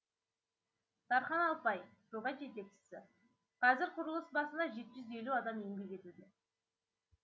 тархан алпай жоба жетекшісі қазір құрылыс басында жеті жүз елу адам еңбек етуде